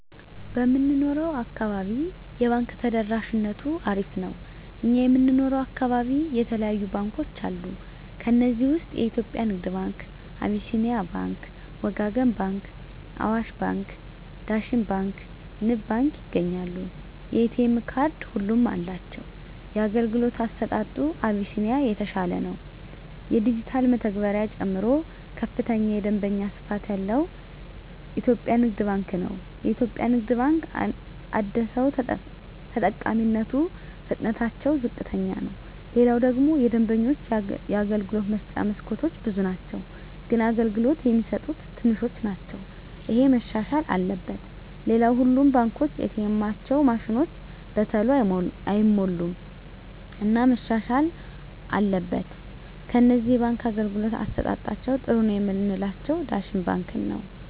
በምንኖረው አካባቢ የባንክ ተደራሽነቱ አሪፍ ነው እኛ የምንኖረው አካባቢ የተለያዩ ባንኮች አሉ ከዚህ ውስጥ የኢትዮጵያ ንግድ ባንክ አቢስኒያ ባንክ ወጋገን ባንክ አዋሽ ባንክ ዳሽን ባንክ ንብ ባንክ ይገኛሉ የኤ.ቴ ካርድ ሁሉም አላቸው የአገልግሎቱ አሰጣጡ አቢስኒያ የተሻለ ነው የዲጅታል መተግበሪያ ጨምሮ ከፍተኛ የደንበኛ ስፋት ያለው ኢትዮጵያ ንግድ ባንክ ነው የኢትዮጵያ ንግድ ባንክ አደሰው ተጠቃሚነቱ ፍጥነትታቸው ዝቅተኛ ነው ሌላው ደግሞ የደንበኞች የአገልግሎት መስጫ መስኮቶች ብዙ ናቸው ግን አገልግሎት የሚሰጡት ትንሾች ናቸው እሄ መሻሻል አለበት ሌላው ሁሉም ባንኮች ኤ. ቴኤማቸው ማሽኖች በተሎ አይሞሉም እና መሻሻል አትበል ከነዚህ የባንክ አገልግሎት አሠጣጣቸዉ ጥሩ ነው ምላቸውን ዳሽን ባንክን ነዉ